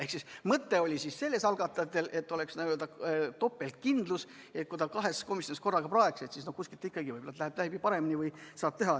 Ehk siis algatajate mõte oli selles, et oleks n-ö topeltkindlus – kui ta kahes komisjonis korraga praeks, siis kuskil ikka võib-olla läheks paremini.